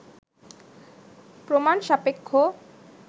প্রমাণসাপেক্ষ